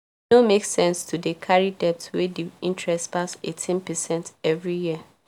e no make sense to dey carry debt wey the interest pass 18 percent every year